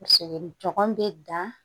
Tɔgɔ bɛ dan